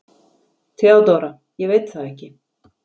THEODÓRA: Ég veit það ekki.